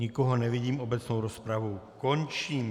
Nikoho nevidím, obecnou rozpravu končím.